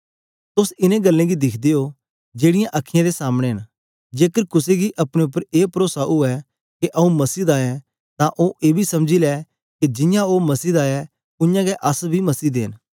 तोस इनें गल्लें गी दिखदे ओ जेड़ीयां अखीयैं दे सामने न जेकर कुसे गी अपने उपर ए परोसा उवै के आंऊँ मसीह दा ऐं तां ओ एबी समझी लै के जियां ओ मसीह दा ऐ उयांगै अस बी मसीह दे न